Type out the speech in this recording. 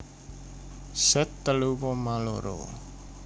Z telu koma loro